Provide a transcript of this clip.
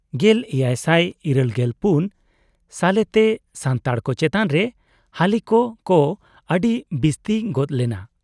1784 ᱥᱟᱞᱮᱛᱮ ᱥᱟᱱᱛᱟᱲ ᱠᱚ ᱪᱮᱛᱟᱱ ᱨᱮ ᱦᱟᱹᱞᱤᱠ ᱠᱚ ᱟᱹᱰᱤ ᱵᱤᱥᱛᱤ ᱜᱚᱫ ᱞᱮᱱᱟ ᱾